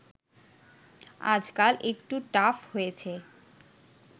আজকাল একটু টাফ হয়েছে